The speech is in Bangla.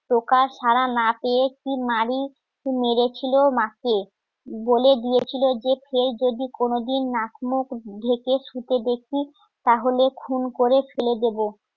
টোকা ছাড়া না পেয়ে কি মারি মেরেছিল মাকে বলে দিয়েছিল যে ফের যদি কোনদিন নাক মুখ ঢেকে ছুটে দেখি তাহলে খুন করে ফেলে দেবো